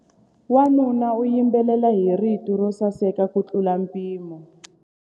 Wanuna u yimbelela hi rito ro saseka kutlula mpimo.